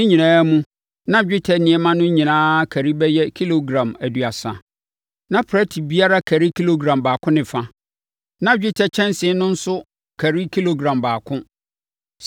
Ne nyinaa mu, na dwetɛ nneɛma no nyinaa kari bɛyɛ kilogram aduasa. Na prɛte biara kari kilogram baako ne fa, na dwetɛ kyɛnsee no nso kari kilogram baako.